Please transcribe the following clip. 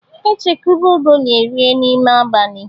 E chekwube ogoli e rie n'ime abalị.